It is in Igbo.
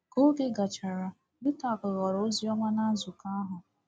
Ka oge gachara, Yutaka ghọrọ oziọma na nzukọ ahụ.